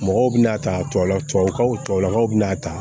Mɔgɔw bɛna ta tubabukaw tubabulakaw bɛna a ta